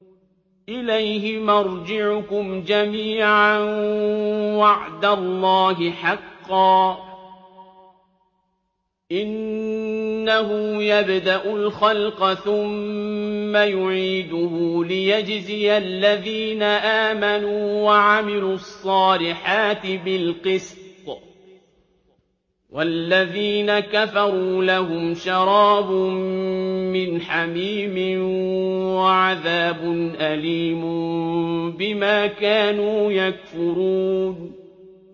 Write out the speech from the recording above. إِلَيْهِ مَرْجِعُكُمْ جَمِيعًا ۖ وَعْدَ اللَّهِ حَقًّا ۚ إِنَّهُ يَبْدَأُ الْخَلْقَ ثُمَّ يُعِيدُهُ لِيَجْزِيَ الَّذِينَ آمَنُوا وَعَمِلُوا الصَّالِحَاتِ بِالْقِسْطِ ۚ وَالَّذِينَ كَفَرُوا لَهُمْ شَرَابٌ مِّنْ حَمِيمٍ وَعَذَابٌ أَلِيمٌ بِمَا كَانُوا يَكْفُرُونَ